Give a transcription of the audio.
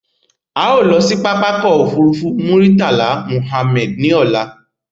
A ó lọ sí pápákọ̀ ọkọ̀ òfurufú Murtala Mohammed ní ọ̀la